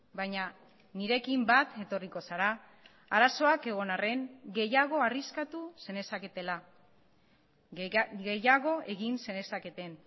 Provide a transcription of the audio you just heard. baina nirekin bat etorriko zara arazoak egon arren gehiago arriskatu zenezaketela gehiago egin zenezaketen